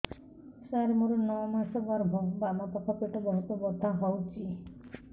ସାର ମୋର ନଅ ମାସ ଗର୍ଭ ବାମପାଖ ପେଟ ବହୁତ ବଥା ହଉଚି